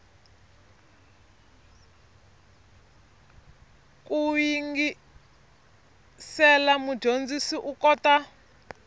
ku yingisela mudyondzi u kota